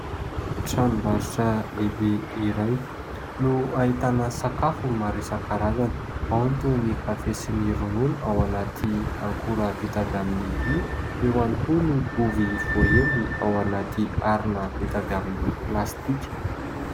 Tranombarotra lehibe iray no ahitana sakafo maro isan-karazany, ao ny toy ny kafe sy ny ronono ao anaty akora vita avy amin'ny vy, eo ihany koa ny ovy voahendy ao anaty harona vita avy amin'ny plastika.